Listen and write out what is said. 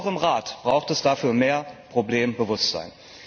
Und auch im Rat braucht es dafür mehr Problembewusstsein.